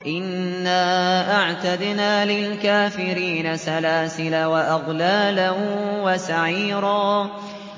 إِنَّا أَعْتَدْنَا لِلْكَافِرِينَ سَلَاسِلَ وَأَغْلَالًا وَسَعِيرًا